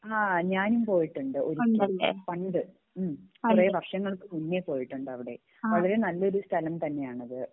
ആഹ് ഞാനും പോയിട്ടുണ്ട് ഒരിക്കൽ പണ്ട് ഉം കൊറേ വർഷങ്ങൾക്ക് മുന്നേ പോയിട്ടുണ്ട് അവിടെ അവിടെ നല്ലൊരു സ്ഥലം തന്നെയാണ് അത്